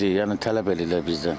Yəni tələb edirlər bizdən.